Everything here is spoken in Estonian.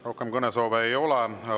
Rohkem kõnesoove ei ole.